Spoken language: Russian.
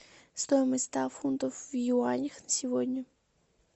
стоимость ста фунтов в юанях на сегодня